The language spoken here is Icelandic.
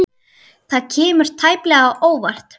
Það kemur tæplega á óvart.